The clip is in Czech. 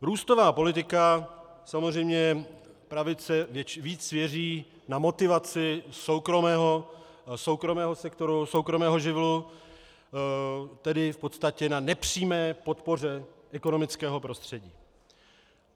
Růstová politika, samozřejmě pravice víc věří na motivaci soukromého sektoru, soukromého živlu, tedy v podstatě na nepřímé podpoře ekonomického prostředí.